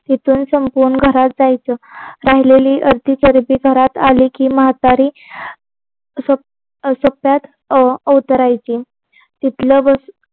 तिथून संपून घरात जायचं राहिलेली अर्धी चरबी सगळी घरात आली की म्हातारी अवतरायची तिथलं